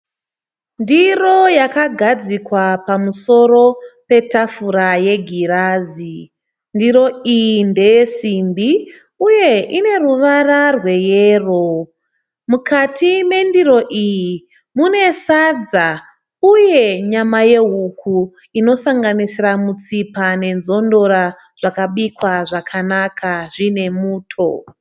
Ndiro yakagadzikwa pamusoro petafura yegirazi. Ndiro iyi ndeyesimbi uye ine ruvara rweyero. Mukati mendiro iyi mune sadza uye nyama yehuku inosanganisira mutsipa nenzondora, zvakabikwa zvakanaka zviine muto